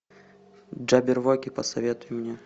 джабервоки посоветуй мне